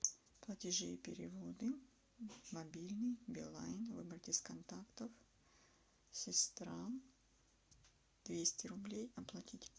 платежи и переводы мобильный билайн выбрать из контактов сестра двести рублей оплатить